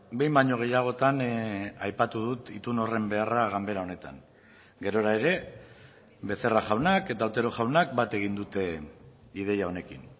behin baino gehiagotan aipatu dut itun horren beharra ganbera honetan gerora ere becerra jaunak eta otero jaunak bat egin dute ideia honekin